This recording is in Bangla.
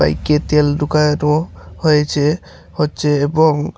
এদিকে তেল হয়েছে হচ্ছে এবং--